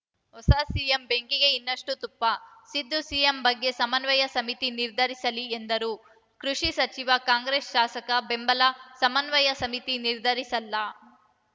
ಹೊಸ ಸಿಎಂ ಬೆಂಕಿಗೆ ಇನ್ನಷ್ಟುತುಪ್ಪ ಸಿದ್ದು ಸಿಎಂ ಬಗ್ಗೆ ಸಮನ್ವಯ ಸಮಿತಿ ನಿರ್ಧರಿಸಲಿ ಎಂದ ಕೃಷಿ ಸಚಿವ ಕಾಂಗ್ರೆಸ್‌ ಶಾಸಕ ಬೆಂಬಲ ಸಮನ್ವಯ ಸಮಿತಿ ನಿರ್ಧರಿಸಲ್ಲ